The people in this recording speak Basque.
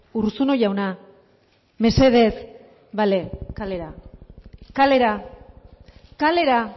urruzuno jauna mesedez bale kalera kalera kalera